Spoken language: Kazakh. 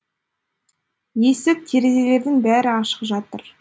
есік терезелердің бәрі ашық жатыр